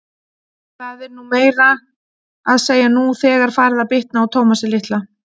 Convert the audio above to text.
Það er meira að segja nú þegar farið að bitna á Tómasi litla.